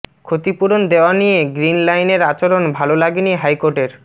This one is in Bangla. ক্ষতিপূরণ দেয়া নিয়ে গ্রিন লাইনের আচরণ ভালো লাগেনি হাইকোর্টের